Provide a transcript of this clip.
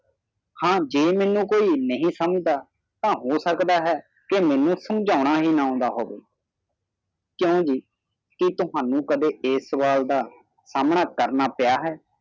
ਹਾ ਮੀਨੂ ਕੋਈ ਨਾਹੀ ਸ਼ਮਾਜਦਾ ਤਾ ਹੋ ਸਕਦਾ ਹਾਏ ਕੇ ਮੀਨੂ ਸ਼ਮਝਾ ਹੀ ਨਾ ਅਦਾ ਹੋਵੈ ਕਿਉਵੀ ਕਿ ਤੁਹਾਨੂੰ ਇਹ ਸਾਵਲ ਦਾ ਸਾਮਨਾ ਕਰਨਾ ਪਿਆ ਹੈ